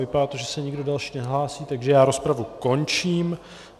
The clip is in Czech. Vypadá to, že se nikdo další nehlásí, takže já rozpravu končím.